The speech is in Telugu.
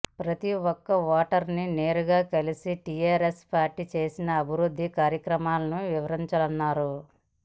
ప్రతి ఒక్క ఓటర్ ని నేరుగా కలిసి టీఆర్ఎస్ పార్టీ చేసిన అభివృద్ధి కార్యక్రమాలను వివరించాలన్నారు